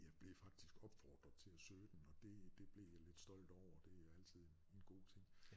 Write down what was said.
Jeg blev faktisk opfordret til at søge den og det det blev jeg lidt stolt over det er altid en en god ting